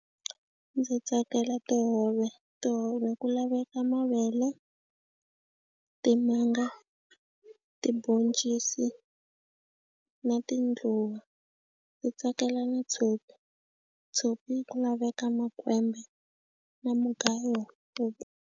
Ndzi tsakela tihove tihove ku laveka mavele timanga tiboncisi na tindluwa ndzi tsakela na tshopi tshopi ku laveka makwembe na mugayo.